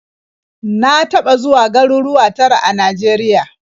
Na taɓa zuwa garuruwa tara a Najeriya.